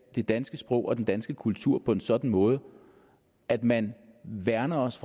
det danske sprog og den danske kultur på en sådan måde at man værner os